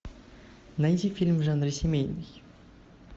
найти фильм в жанре семейный